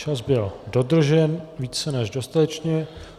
Čas byl dodržen více než dostatečně.